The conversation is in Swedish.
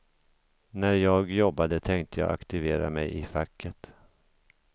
När jag jobbade tänkte jag aktivera mig i facket.